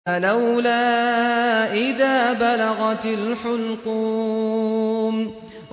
فَلَوْلَا إِذَا بَلَغَتِ الْحُلْقُومَ